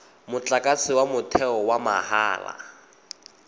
motlakase wa motheo wa mahala